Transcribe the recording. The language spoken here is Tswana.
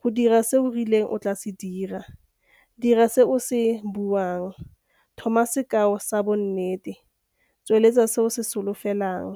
go dira se o rileng o tlaa se dira, dira se o se buang, tlhoma sekao sa bonnete, tsweletsa se o se solofelang.